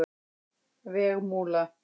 Vegmúla